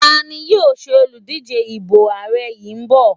tani yíò ṣe Oludije ipo ààrẹ yin bọ